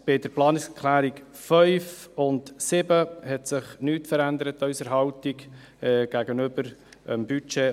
Bei den Planungserklärungen 5 und 7 hat sich an unserer Haltung aus der Budgetdebatte nichts geändert.